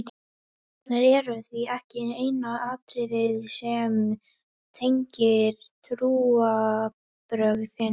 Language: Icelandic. Páskarnir eru því ekki eina atriðið sem tengir trúarbrögðin.